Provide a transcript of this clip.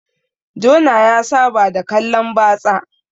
Jona ya Saba da kallan batsa